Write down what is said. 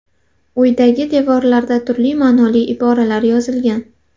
Uydagi devorlarda turli ma’noli iboralar yozilgan.